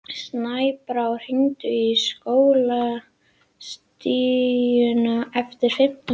Snæbrá, hringdu í Skólastíku eftir fimmtán mínútur.